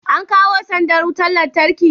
an kawo sandar wutar lantarkin?